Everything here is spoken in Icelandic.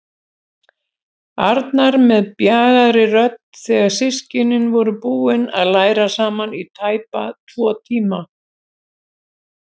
Arnar með bjagaðri rödd þegar systkinin voru búin að læra saman í tæpa tvo tíma.